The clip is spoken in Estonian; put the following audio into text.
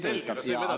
Kas võib edasi minna?